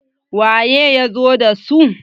waye ya zo da su?